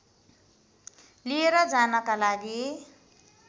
लिएर जानका लागि